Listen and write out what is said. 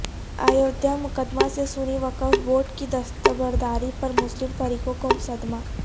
ایودھیا مقدمہ سے سنی وقف بورڈ کی دستبرداری پر مسلم فریقوں کو صدمہ